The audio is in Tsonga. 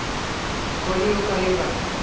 thoni yo ka yi nga